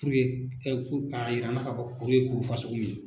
k'a yira an na kuru ye kuru min ye.